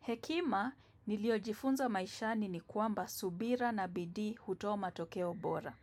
Hekima niliojifunza maishani ni kuamba subira na bidii hutoa matokeo bora.